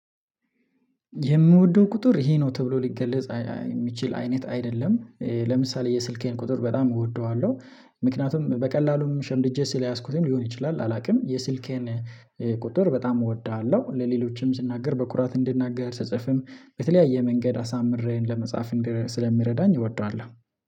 የምወደው ቁጥር ይሄ ነው ተብሎ ሊገለጽ የሚችል አይነት አይደለም፤ ለምሳሌ የስልኬን ቁጥር በጣም እወደዋለሁ። ምክንያቱም በቀላሉም ሸምድጄ ስለያዝኩትም ሊሆን ይችላል አላውቅም የስልኬን ቁጥር በጣም እወዳለሁ ለሌሎችም ስናገር በኩራት እንድናገር ስጽፍም በተለያየ መንገድ አሳምሬ ለመጻፍ ስለሚረዳኝ እወደዋለሁ።